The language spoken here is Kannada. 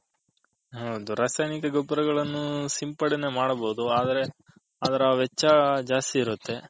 ಹೌದು ರಾಸಾಯನಿಕ ಗೊಬ್ಬರಗಲ್ಲನು ಸಿಂಪಡನೆ ಮಾಡಬೋದು ಆದರೆ ವೆಚ್ಹ ಜಾಸ್ತಿ ಇರುತ್ತೆ.